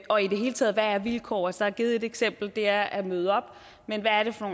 og i det hele taget hvad er vilkår så har jeg givet et eksempel og det er at møde op men hvad er det for